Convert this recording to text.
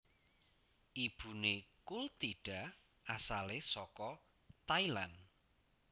Ibuné Kultida asalé saka Thailand